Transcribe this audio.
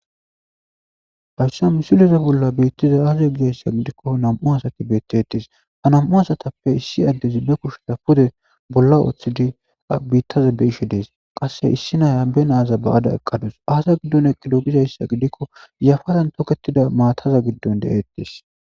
hayssa misileze bolla biittaza aaza gizayssa gidikko nam7u asati bettetis ha nam7u asatappe issi addezi be kusheta pude bolla ooththidi biittaza be ishe dees qasse issi naya benaaza ba7ada eqqadus aasa giddon eqqido gizayssa gidikko yafadan toketida maataza giddon de7ettees